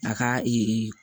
A ka ee